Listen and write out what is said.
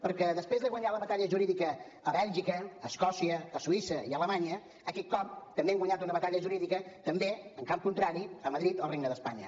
perquè després de guanyar la batalla jurídica a bèlgica a escòcia a suïssa i a alemanya aquest cop també hem guanyat una batalla jurídica en camp contrari a madrid al regne d’espanya